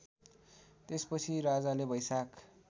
त्यसपछि राजाले बैशाख